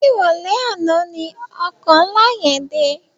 Ni iròlè àná ni òkò nlá yèn dé